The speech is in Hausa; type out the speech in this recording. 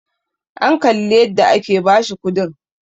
an Kalli yadda aka bashi kudin!